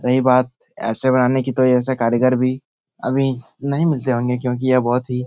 रही बात ऐसे बनाने की तो ऐसे कारीगर भी अभी नहीं मिलते होंगे क्युकि यह बहुत ही --